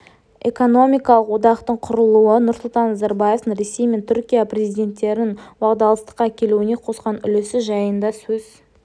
экономикалық одақтың құрылуы нұрсұлтан назарбаевтың ресей мен түркия президенттерінің уағдаластыққа келуіне қосқан үлесі жайында сөз